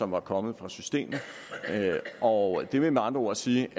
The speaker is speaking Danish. var kommet fra systemet og det vil med andre ord sige